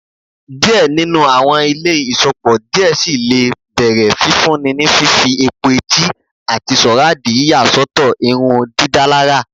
Diẹ ninu awọn ile iṣọpọ diẹ sii le bẹrẹ fifun ni fifi epo-eti ati soradi yiya sọtọ irundidalara